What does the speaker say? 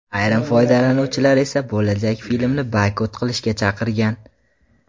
Ayrim foydalanuvchilar esa bo‘lajak filmni boykot qilishga chaqirgan.